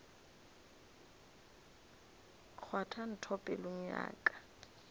kgwatha ntho pelong ya ka